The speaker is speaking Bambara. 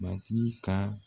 Matigi ka